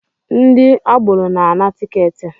Ndị agboro na-ana tiketi